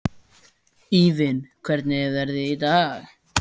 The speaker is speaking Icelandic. Evan, hvernig er veðrið í dag?